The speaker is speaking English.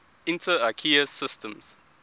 inter ikea systems